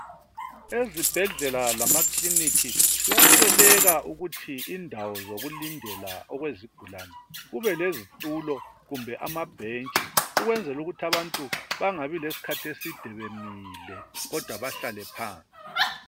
Ezibhedlela lamakliniki kuyasweleka ukuthi indawo zokulindela okwezigulane kube lezitulo kumbe amabhentshi ukwenzela ukuthi abantu bengabi lesikhathi eside bemile kodwa behlale phansi.